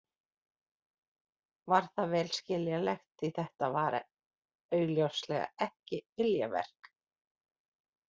Var það vel skiljanlegt því þetta var augljóslega ekki viljaverk.